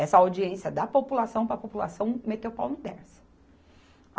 Essa audiência da população para a população meter o pau no Dersa